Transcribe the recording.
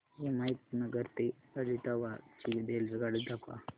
हिमायतनगर ते आदिलाबाद ची रेल्वेगाडी दाखवा